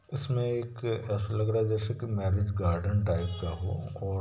इसमे एक ऐसा लग रहा है जैसे के मेर्रिज गार्डन टाइप का हो औ--